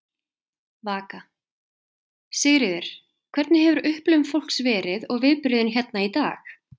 Vaka: Sigríður, hvernig hefur upplifun fólks verið og viðbrögðin hérna í dag?